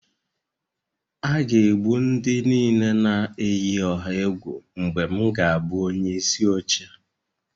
A ga-egbu ndị niile na-eyi ọha egwu mgbe m ga-abụ onyeisi oche